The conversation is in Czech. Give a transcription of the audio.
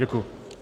Děkuji.